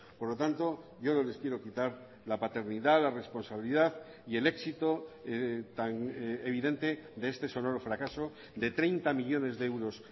por lo tanto yo no les quiero quitar la paternidad la responsabilidad y el éxito tan evidente de este sonoro fracaso de treinta millónes de euros